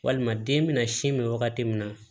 Walima den bɛna sin min wagati min na